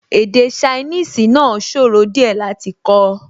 Èdè ṣainíìsì náà sòro díẹ̀ láti kọ́